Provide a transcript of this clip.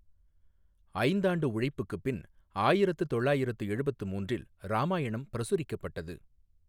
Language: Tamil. ஐந்தாண்டு உழைப்புக்குப் பின் ஆயிரத்து தொள்ளாயிரத்து எழுபத்து மூன்றில் ராமாயணம் பிரசுரிக்கப்பட்டது.